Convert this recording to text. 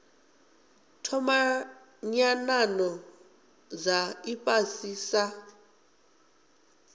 thoma nyanano dza ifhasi sa